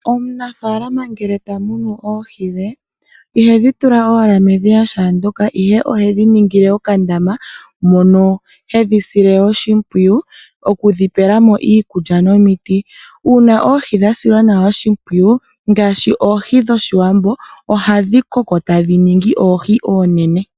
Omunafaalama ngele ta munu oohi dhe ihedhi tula owala medhiya shaandyoka, ihe ohedhi ningile okandama moka hedhi sile oshimpwiyu okudhi pela mo iikulya nomiti. Uuna oohi dha silwa nawa oshimpwiyu ngaashi oohi dhefundja, ohadhi koko e tadhi ningi oohi oonene.